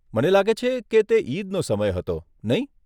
મને લાગે છે કે તે ઈદનો સમય હતો? નહીં?